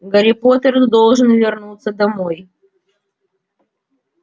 гарри поттер должен вернуться домой